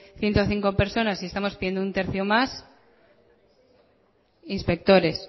ciento cinco personas y estamos pidiendo un tercio más inspectores